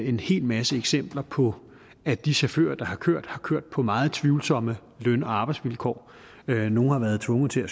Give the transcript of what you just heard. en hel masse eksempler på at de chauffører der har kørt har kørt på meget tvivlsomme løn og arbejdsvilkår nogle har været tvunget til at